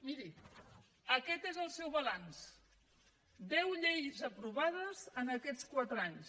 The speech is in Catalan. miri aquest és el seu balanç deu lleis aprovades en aquests quatre anys